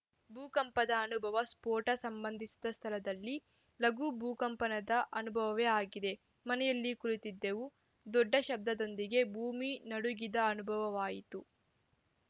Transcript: ಭೂಕಂಪದ ಅನುಭವ ಸ್ಫೋಟ ಸಂಭವಿಸಿದ ಸ್ಥಳದಲ್ಲಿ ಲಘು ಭೂಕಂಪನದ ಅನುಭವವೇ ಆಗಿದೆ ಮನೆಯಲ್ಲಿ ಕುಳಿತಿದ್ದೆವು ದೊಡ್ಡ ಶಬ್ದದೊಂದಿಗೆ ಭೂಮಿ ನಡುಗಿದ ಅನುಭವವಾಯಿತು